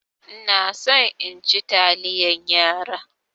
Ina so in ci taliyan yara.